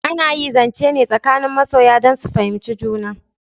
Ana yi zance ne tsakanin masoya dan sun fahimci juna